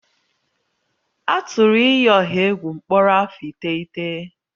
A tụrụ iyi ọha egwu mkpọrọ afọ iteghete